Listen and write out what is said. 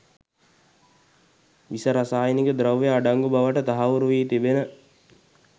විස රසායනික ද්‍රව්‍ය අඩංගු බවට තහවුරු වී තිබෙන